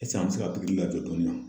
an bɛ se ka pikiri kɛ